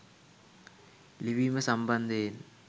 ලිවීම සම්බන්දයෙන්